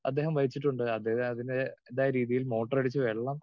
Speaker 2 അദ്ദേഹം വഹിച്ചിട്ടുണ്ട്. അദ്ദേഹം അതിന്റേതായ രീതിയിൽ മോട്ടർ അടിച്ചു വെള്ളം